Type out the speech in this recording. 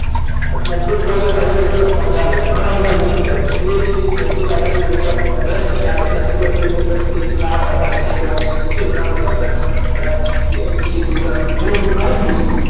અથવા pre process hyper કહે તો પણ ચાલે ઘણા બધા meaning થાય છે પણ PHP object આધારિત programming માં best ખ્યાલ છે અને અત્યાર સુધી માં સૌથી સારામાં સારી programming language છે ઘણા બધા framework અને ઘણા બધા MVC program ઘણું બધું આવી ગયેલું છે